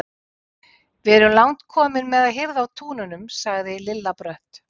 Við erum langt komin með að hirða af túnunum, sagði Lilla brött.